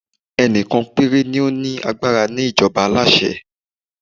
ẹni kan pere ni o ni agbara ni ìjọba aláṣẹ